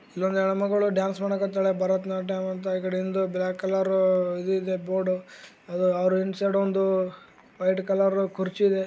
ಇಲ್ಲೊಂದು ಹೆಣ್ಣು ಮಗಳು ಡಾನ್ಸ್ ಮಾಡೋಕ್ಕೆ ಆತ್ತಳೆ ಭರತನಾಟ್ಯ ಮತ್ತು ಈಕಡೆ ಬ್ಲಾಕ್ ಕಲರ್ ಇದು ಇದೆ ಬೋರ್ಡ್ ಅದು ಇನ್ಶೈಡ್ ಒಂದು ವೈಟ್ ಕಲರ್ ಕುರ್ಚಿ ಇದೆ .